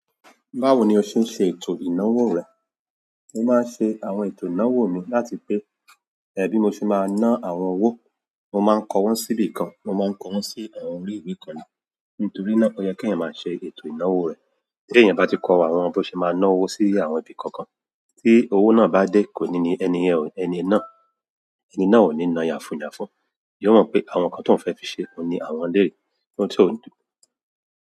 Báwo ni o ṣe ń ṣe ètò ìnáwó rẹ? Mo máa ń ṣe àwọn ètò ìnáwó mi láti pé, ẹbí mi ṣì máa ná àwọn owó, mo máa ń kọ wọ́n síbi kan, mo máa ń kọ wọ́n sí àwọn orí ìwé kan náà. Nítorí náà, ó yẹ kí ẹ̀yan máa ṣe ètò ìnáwó rẹ. Ti eyan ba ti ko àwọn bi o se maa náwó si àwọn ibi kankan ti ọwọ na bade ẹni náà koni náà yafu yafu. Yóò mọ̀ pé àwọn nǹkan tí òun fẹ́ fi ṣe òní àwọn lè, ohun tí ó ń dùn.